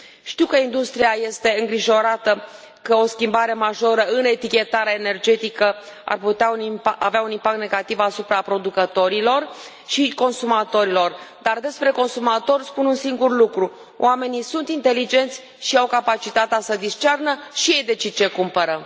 Știu că industria este îngrijorată că o schimbare majoră în etichetarea energetică ar putea avea un impact negativ asupra producătorilor și consumatorilor, dar despre consumatori spun un singur lucru oamenii sunt inteligenți și au capacitatea să discearnă și ei decid ce cumpără.